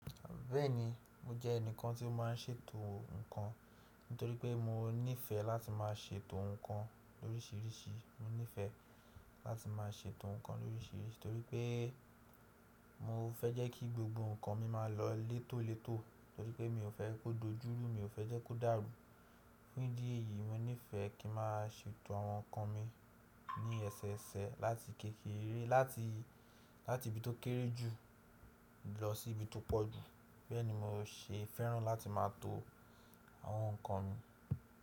Bẹ́ẹ̀ni, mo jẹ́ ẹnìkan tí ó má a ń ṣètò nǹkan, nítorí pé mo níìfẹ̀ láti má a ṣètò nǹkan lórísìírísìí. Mo níìfẹ̀ láti má a ṣètò nǹkan lórísìírísìí, torí pé mo fẹ́ jẹ́ kí gbogbo nǹkan mi má a lọ létólétò, torí pé mi ò fẹ́ kó dojúru, mi ò fẹ́ jẹ́ kó dàrú. Fún ìdí èyí, mo níìfẹ̀ kí ma ṣètò àwọn nǹkan mi ní ẹsẹẹsẹ̀ láti kékeré, láti, láti ibi tó kéré jù lọ sí ibi tó pọ̀ jù. Bẹ́ẹ̀ni, mo ṣe fẹ́ràn láti má a to àwọn nǹkan mi.